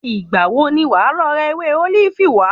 Ìgbà wo ni wàá lọ ra ewé ólífì wá?